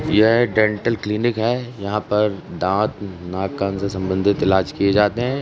यह dental clinic है यहाँ पर दाँत नाक कान से संबंधित इलाज किए जाते हैं।